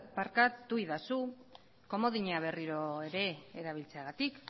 barkaidazu komodina berriro ere erabiltzeagatik